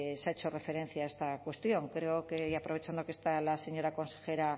se ha hecho referencia a esta cuestión creo y aprovechando que está la señora consejera